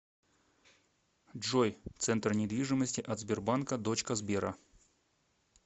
джой центр недвижимости от сбербанка дочка сбера